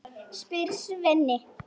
spyr Svenni.